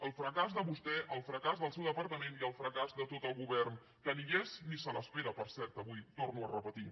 el fracàs de vostè el fracàs del seu departament i el fracàs de tot el govern que ni hi és ni se l’espera per cert avui ho torno a repetir